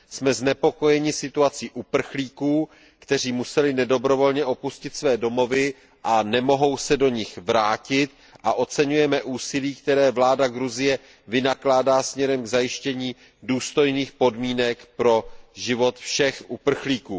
Jsme znepokojeni situací uprchlíků, kteří museli nedobrovolně opustit své domovy a nemohou se do nich vrátit, a oceňujeme úsilí, které vláda Gruzie vynakládá směrem k zajištění důstojných podmínek pro život všech uprchlíků.